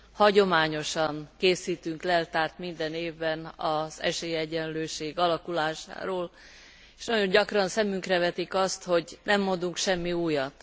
Hagyományosan készítünk leltárt minden évben az esélyegyenlőség alakulásáról, és nagyon gyakran szemünkre vetik azt, hogy nem mondunk semmi újat.